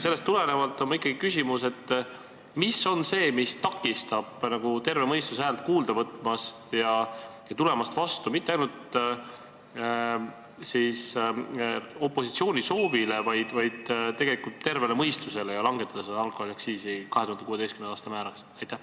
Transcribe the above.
Sellest tulenevalt on mul ikkagi küsimus: mis on see, mis takistab teil terve mõistuse häält kuulda võtmast ja tulemast vastu mitte ainult opositsiooni soovile, vaid tegelikult tervele mõistusele ja langetada alkoholiaktsiisi 2016. aasta määrani?